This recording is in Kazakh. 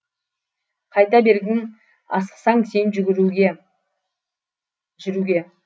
қайта бергін асықсаң сен жүруге